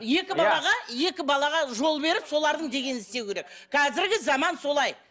екі балаға екі балаға жол беріп солардың дегенін істеу керек қазіргі заман солай